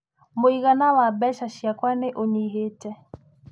Mũigana wa mbeca ciakwa nĩ ũnyihĩte.